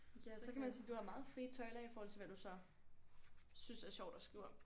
Ja så kan man sige du har meget frie tøjler i forhold til hvad du så synes er sjovt at skrive om